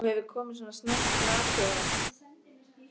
Þú hefur komið svona snemma til að athuga það.